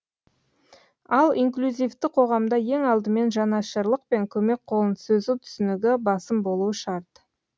ал инклюзивті қоғамда ең алдымен жанашырлық пен көмек қолын созу түсінігі басым болуы шарт